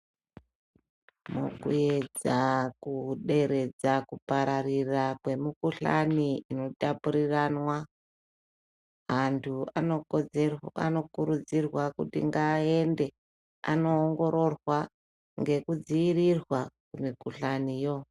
Mukuedza kuderedza kupararira kwemukuhlani inotapuriranwa antu anokurudzirwa kuti ngaaende anoongororwa ngekudzivirirwa mikuhlaniyo.